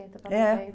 para noventa..